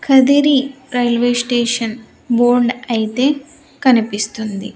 Kadiri railway station board అయితే కనిపిస్తుంది.